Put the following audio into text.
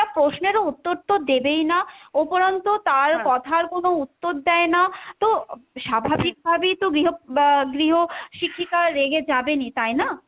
প্রশ্নেরও উত্তর তো দেবেই না, ওপরন্ত তার কথার কোন উত্তর দেই না তো স্বাভাবিক ভাবেই তো গৃহ বা গৃহ শিক্ষিকা রেগে যাবেনই, তাই না?